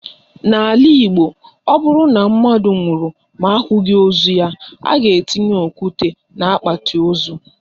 N'ala Igbo, o bụrụ na mmadụ nwụrụ ma ahụghị ozu ya, a ga-etinye okwute n'akpati ozu.